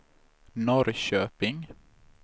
Norrköping